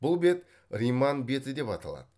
бұл бет риман беті деп аталады